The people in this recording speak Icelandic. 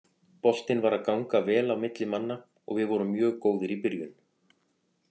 Boltinn var að ganga vel á milli manna og við vorum mjög góðir í byrjun.